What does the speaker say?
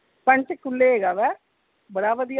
ਪੰਚਕੂਲੇ ਹੇਗਾ ਵਾ ਬੜਾ ਵਧੀਆ